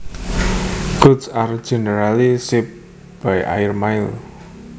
Goods are generally shipped by airmail